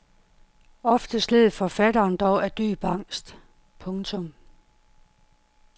Oftest led forfatteren dog af dyb angst. punktum